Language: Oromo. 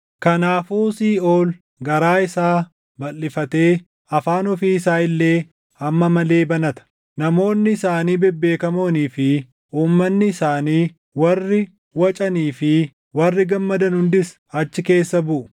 Kanaafuu Siiʼool garaa isaa balʼifatee afaan ofii isaa illee hamma malee banata; namoonni isaanii bebbeekamoonii fi uummanni isaanii warri wacanii fi warri gammadan hundis achi keessa buʼu.